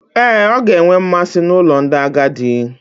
Ee, ọ ga-enwe mmasị n'ụlọ ndị agadi.